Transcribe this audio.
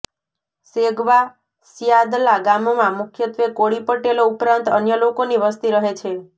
સેગવા સ્યાદલા ગામમાં મુખ્યત્વે કોળી પટેલો ઉપરાંત અન્ય લોકોની વસ્તી રહે છે